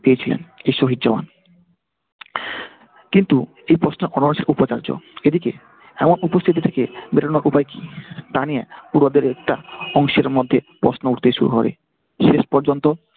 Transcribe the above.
পেয়েছিলেন এই শহীদ জওয়ান। কিন্তু এই টা । এদিকে এমন উপস্থিতি থেকে বেরোনোর উপায় কি তা নিয়ে একটা অংশের মধ্যে প্রশ্ন উঠতে শুরু করে। শেষ পর্যন্ত